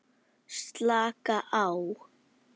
Slaka á?